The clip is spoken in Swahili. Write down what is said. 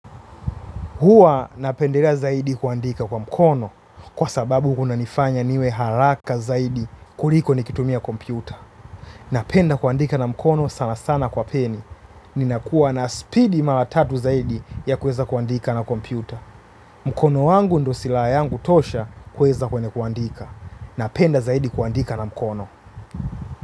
Huwa napendelea zaidi kuandika kwa mkono kwa sababu kunanifanya niwe haraka zaidi kuliko nikitumia kompyuta. Napenda kuandika na mkono sana sana kwa peni. Ninakuwa na speedi mara tatu zaidi ya kuweza kuandika na kompyuta. Mkono wangu ndio silaha yangu tosha kuweza kwenye kuandika. Napenda zaidi kuandika na mkono.